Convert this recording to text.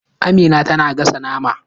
Amina tana gasa naman